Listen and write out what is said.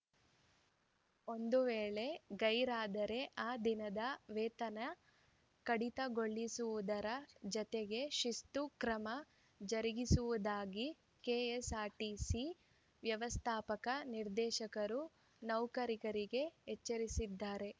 ಒಂದು ವೇಳೆ ಗೈರಾದರೆ ಆ ದಿನದ ವೇತನ ಕಡಿತಗೊಳಿಸುವುದರ ಜತೆಗೆ ಶಿಸ್ತು ಕ್ರಮ ಜರುಗಿಸುವುದಾಗಿ ಕೆಎಸ್‌ಆರ್‌ಟಿಸಿ ವ್ಯವಸ್ಥಾಪಕ ನಿರ್ದೇಶಕರು ನೌಕರರಿಗೆ ಎಚ್ಚರಿಸಿದ್ದಾರೆ